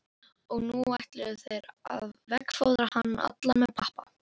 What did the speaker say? Og nú ætluðu þeir að veggfóðra hann allan með pappa.